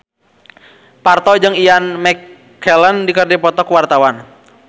Parto jeung Ian McKellen keur dipoto ku wartawan